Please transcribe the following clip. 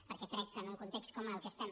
perquè crec que en un context com el que estem